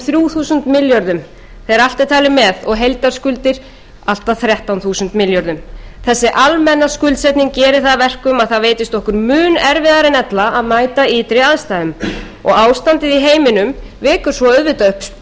þúsund milljörðum þegar allt er talið með og heildarskuldir allt að þrettán þúsund milljörðum þessi almenna skuldsetning gerir það að verkum að það reynist okkur mun erfiðara en ella að mæta ytri aðstæðum og ástandið í heiminum vekur svo auðvitað upp